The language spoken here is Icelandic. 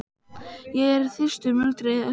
Ég er þyrstur muldraði sá aftari.